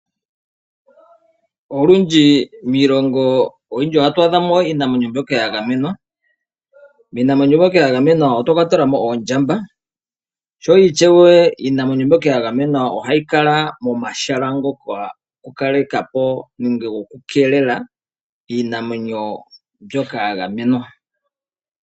Olundji miilongo oyindji ohatu adha mo iinamwenyo mbyoka ya gamenwa. Miinamwenyo mbyoka ya gamenwa otwa kwatelwa mo oondjamba, sho ishewe iinamwenyo mbyoka ya gamenwa ohayi kala momahala ngoka goku kaleka po nenge gokukeelela iinamwenyo mbyoka ya gamenwa.